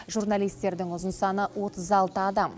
журналистердің ұзын саны отыз алты адам